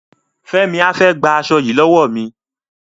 Fẹ́mi á fẹ́ gba aṣo yìí lọ́wọ́ mi.